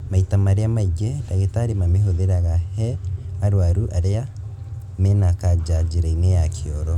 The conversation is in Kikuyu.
Maita marĩa maingĩ, ndagĩtarĩ mamĩhũthĩraga he arwaru arĩa mena kanja njĩra-inĩ yao ya kĩoro